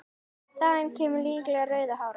Þaðan kemur líklega rauða hárið.